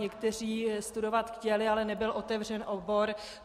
Někteří studovat chtěli, ale nebyl otevřen obor.